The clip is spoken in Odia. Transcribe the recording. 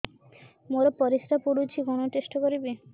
ମୋର ପରିସ୍ରା ପୋଡୁଛି କଣ ଟେଷ୍ଟ କରିବି